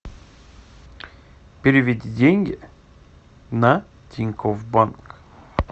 переведи деньги на тинькофф банк